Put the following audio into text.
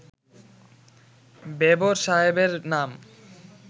বেবর সাহেবের নাম